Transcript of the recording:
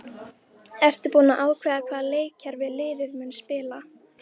Ertu búinn að ákveða hvaða leikkerfi liðið mun spila?